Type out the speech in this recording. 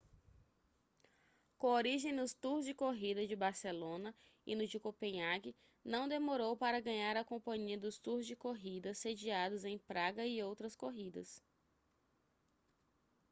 com origem nos tours de corrida de barcelona e no de copenhague não demorou para ganhar a companhia dos tours de corrida sediados em praga e outras corridas